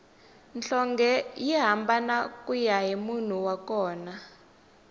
nhlonge yi hambana kuya hi munhu wa kona